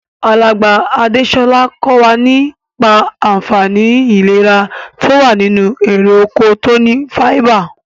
Alàgbà Adésolà ko wa nípa ànfaní ìlera to wa nínú erè oko to ni fáíbà